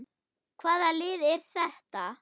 Hvaða lið er þetta?